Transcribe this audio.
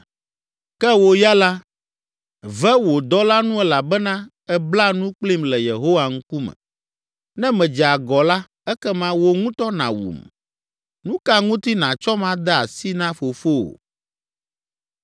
Ke wò ya la, ve wò dɔla nu elabena èbla nu kplim le Yehowa ŋkume. Ne medze agɔ la, ekema wò ŋutɔ nàwum! Nu ka ŋuti nàtsɔm ade asi na fofowò?”